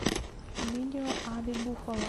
видео ави буффало